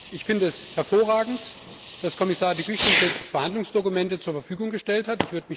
Ich finde es hervorragend, dass Kommissar De Gucht uns jetzt Verhandlungsdokumente zur Verfügung gestellt hat.